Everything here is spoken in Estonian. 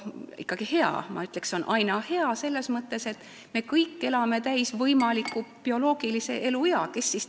No ikkagi hea, ma ütleksin, see on hea, selles mõttes, et me kõik elame täis oma võimaliku bioloogilise eluea.